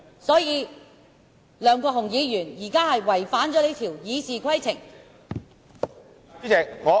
所以，梁國雄議員現時是違反了這項《議事規則》。